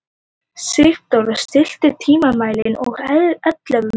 Sigdóra, stilltu tímamælinn á ellefu mínútur.